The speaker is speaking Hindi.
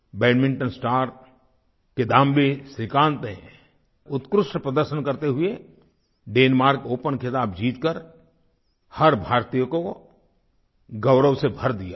बैडमिंटन स्टार किदाम्बी श्रीकांत ने उत्कृष्ट प्रदर्शन करते हुए डेनमार्क ओपन ख़िताब जीतकर हर भारतीय को गौरव से भर दिया है